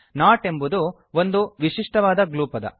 not ಎನ್ನುವುದು ಒಂದು ವಿಶಿಷ್ಟವಾದ ಗ್ಲೂ ಪದ